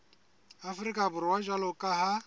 afrika borwa jwalo ka ha